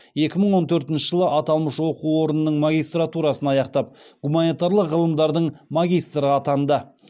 екі мың он тортінші жылы аталмыш оқу орнының магистратурасын аяқтап гуманитарлық ғылымдардың магистрі атанды